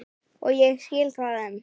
Og ég skil það enn.